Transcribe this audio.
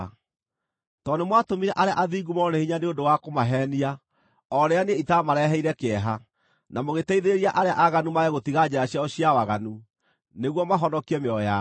Tondũ nĩmwatũmire arĩa athingu morwo nĩ hinya nĩ ũndũ wa kũmaheenia o rĩrĩa niĩ itaamareheire kĩeha, na mũgĩteithĩrĩria arĩa aaganu mage gũtiga njĩra ciao cia waganu nĩguo mahonokie mĩoyo yao,